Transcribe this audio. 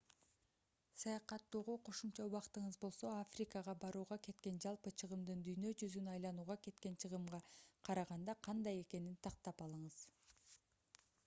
саякаттоого кошумча убактыңыз болсо африкага барууга кеткен жалпы чыгымдын дүйнө жүзүн айланууга кеткен чыгымга караганда кандай экенин тактап алыңыз